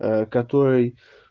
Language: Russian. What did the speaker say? который